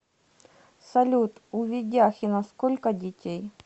салют у ведяхина сколько детей